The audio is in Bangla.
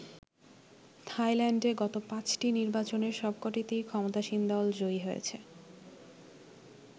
থাইল্যান্ডে গত পাঁচটি নির্বাচনের সব কটিতেই ক্ষমতাসীন দল জয়ী হয়েছে।